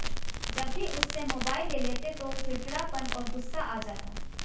जब भी उससे मोबाइल ले लेते तो चिड़चिड़ापन और गुस्सा आ जाता